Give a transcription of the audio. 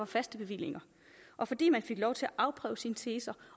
faste bevillinger og fordi man fik lov til at afprøve sine teser